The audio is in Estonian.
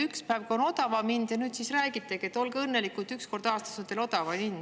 Üks päev on odavam hind, ja nüüd räägitegi, et olge õnnelikud, et üks kord aastas on teil odavam hind.